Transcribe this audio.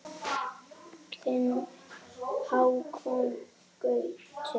Þinn Hákon Gauti.